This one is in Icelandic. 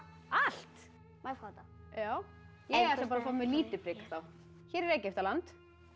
allt má ég fá þetta já ég ætla bara að fá mér lítið prik þá hér er Egyptaland